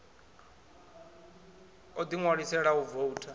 o ḓi ṋwalisela u voutha